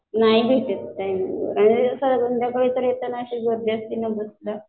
नाही भेटत टाइमिंगवर आणि संध्याकाळी अशी गर्दी असती ना बसला